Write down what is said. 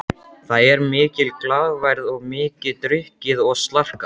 Það er mikil glaðværð og mikið drukkið og slarkað.